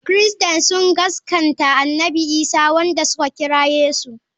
Christains sun gaskanta annabi Isa wanda suka kira Yesu.